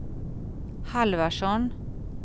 Halvarsson